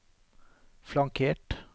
flankert